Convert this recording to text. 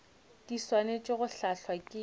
di swanetše go hlahlwa ke